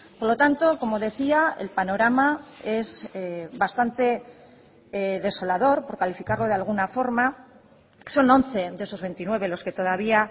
por lo tanto como decía el panorama es bastante desolador por calificarlo de alguna forma son once de esos veintinueve los que todavía